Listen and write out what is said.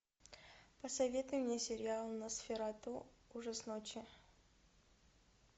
посоветуй мне сериал носферату ужас ночи